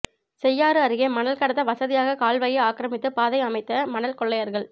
செய்யாறு அருகே மணல் கடத்த வசதியாக கால்வாயை ஆக்கிரமித்து பாதை அமைத்த மணல் கொள்ளையர்கள்